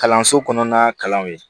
Kalanso kɔnɔna kalanw ye